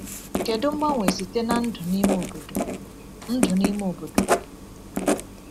Kedu mgbanwe site na ndụ n’ime obodo! ndụ n’ime obodo!